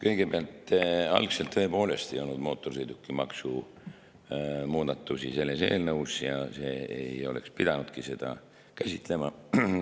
Kõigepealt, algselt tõepoolest ei olnud mootorsõidukimaksu muudatusi selles eelnõus ja see ei oleks pidanudki seda käsitlema.